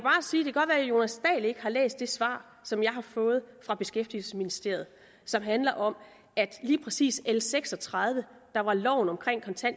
jonas dahl ikke har læst det svar som jeg har fået fra beskæftigelsesministeriet som handler om at lige præcis l seks og tredive der var loven om